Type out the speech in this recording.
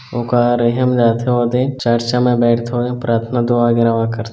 ओ कह रही है हम जाथे ओदे चर्च में बैठते औ प्राथन्ना दुआ वगेरा करथे--